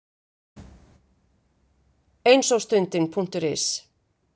Eins ogstundin.is